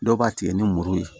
Dɔw b'a tigɛ ni muru ye